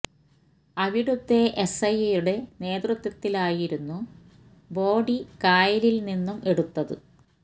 അവിടുത്തെ S I യുടെ നേതൃത്വത്തിലായിരുന്നു ബോഡി കായലില് നിന്നും എടുത്തത്